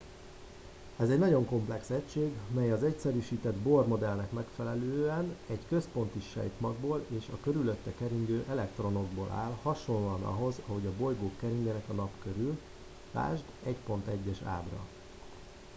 ez egy nagyon komplex egység mely az egyszerűsített bohr modellnek megfelelően egy központi sejtmagból és a körülötte keringő elektronokból áll hasonlóan ahhoz ahogy a bolygók keringenek a nap körül ld 1.1. ábra